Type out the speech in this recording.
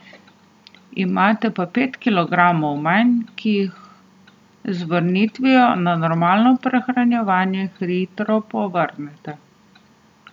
Imate pa pet kilogramov manj, ki jih z vrnitvijo na normalno prehranjevanje hitro povrnete.